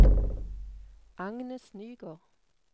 Agnes Nygård